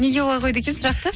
неге олай қойды екен сұрақты